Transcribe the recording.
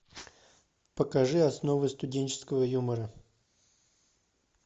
покажи основы студенческого юмора